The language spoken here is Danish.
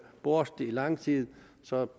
borte i lang tid så